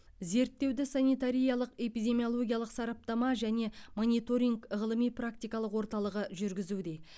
зерттеуді санитариялық эпидемиологиялық сараптама және мониторинг ғылыми практикалық орталығы жүргізуде